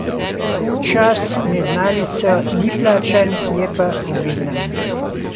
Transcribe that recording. Čas med malico ni plačan, je pa obvezna.